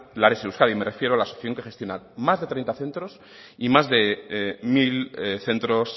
lares euskadi me refiero la asociación que gestiona más de treinta centros y más de mil centros